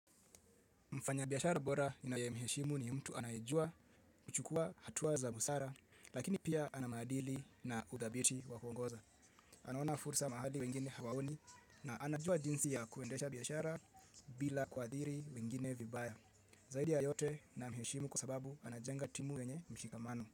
Mfanyabiashara bora ninaye mheshimu ni mtu anayejua kuchukua hatua za busara lakini pia anamaadili na udabiti wakuongoza. Anaona fursa mahali wengine hawaoni na anajua jinsi ya kuendesha biashara bila kuadhiri wengine vibaya. Zaidi ya yote namheshimu kwa sababu anajenga timu wenye mshikamano.